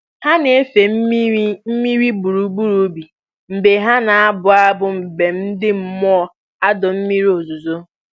Ha na-efe mmiri mmiri gburugburu ubi mgbe ha na-abụ abụ mbem ndị mmụọ adọ mmiri ozuzo